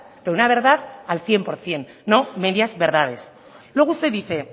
pero una verdad al cien por ciento no medias verdades luego usted dice